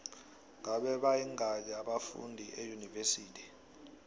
ngabe bayingaki abafundi eunivesithi